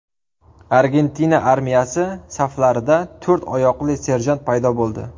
Argentina armiyasi saflarida to‘rt oyoqli serjant paydo bo‘ldi.